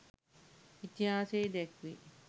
ඉතිහාසයේ දැක්වේ.